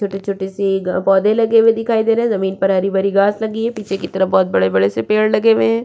छोटी -छोटी सी ग पौधे लगे हुये दिखाई दे रे है जमीन पर हरी -भरी घास लगी है पीछे की तरफ बोहोत बड़े बड़े से पेड़ लगे हुये हैं।